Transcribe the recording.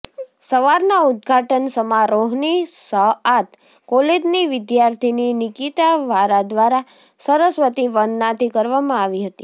સવારના ઉદઘાટન સમારોહની શઆત કોલેજની વિદ્યાર્થીની નિકિતા વારા દ્વારા સરસ્વતી વંદના થી કરવામાં આવી હતી